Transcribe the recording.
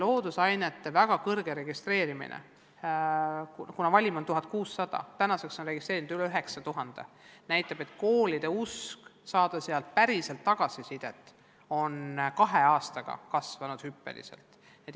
Ja see väga suur registreerunute arv loodusainete testiks – valim on 1600, aga tänaseks on registreerunuid üle 9000 – näitab, et koolide soov saada korralikku tagasisidet on kahe aastaga hüppeliselt kasvanud.